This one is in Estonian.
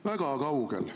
Väga kaugel!